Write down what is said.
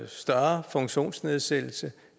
større funktionsnedsættelse